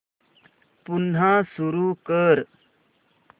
पुन्हा सुरू कर